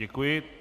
Děkuji.